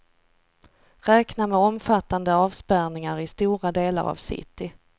Räkna med omfattande avspärrningar i stora delar av city.